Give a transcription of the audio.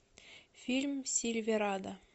фильм сильверадо